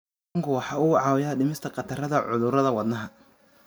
Kalluunku waxa uu caawiyaa dhimista khatarta cudurrada wadnaha.